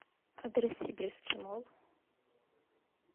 адрес сибирский молл